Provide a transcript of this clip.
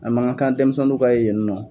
A man gan kan denmisɛnninw ka ye yen nɔ